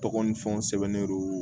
Tɔgɔ ni fɛnw sɛbɛnruw